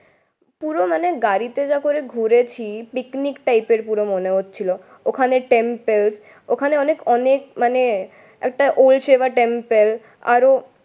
পুরো মানে গাড়িতে যা করে ঘুরেছি পিকনিক টাইপের পুরো মনে হচ্ছিলো। ওখানে টেম্পল ওখানে অনেক মানে একটা টেম্পল। আরও